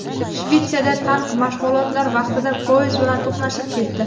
Shvetsiyada tank mashg‘ulotlar vaqtida poyezd bilan to‘qnashib ketdi.